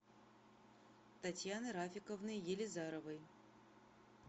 татьяны рафиковны елизаровой